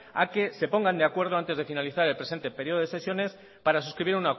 a que se pongan de acuerdo antes de finalizar el presente periodo de sesiones para suscribir